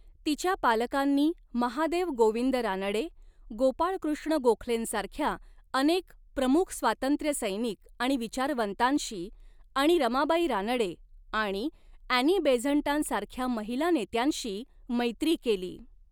तिच्या पालकांनी महादेव गोविंद रानडे, गोपाळ कृष्ण गोखलेंसारख्या अनेक प्रमुख स्वातंत्र्यसैनिक आणि विचारवंतांशी आणि रमाबाई रानडे आणि ॲनी बेझंटांसारख्या महिला नेत्यांशी मैत्री केली.